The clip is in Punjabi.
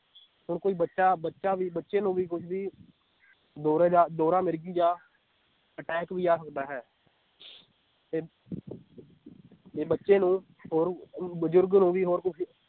ਹੁਣ ਕੋਈ ਬੱਚਾ ਬੱਚਾ ਵੀ ਬੱਚੇ ਨੂੰ ਵੀ ਕੁਝ ਵੀ ਦੌਰੇ ਜਾਂ ਦੌਰਾ ਮਿਰਗੀ ਜਾਂ attack ਵੀ ਆ ਸਕਦਾ ਹੈ ਤੇ ਤੇ ਬੱਚੇ ਨੂੰ ਹੋਰ ਅਹ ਬੁਜੁਰਗ ਨੂੰ ਵੀ ਹੋਰ ਕੁਝ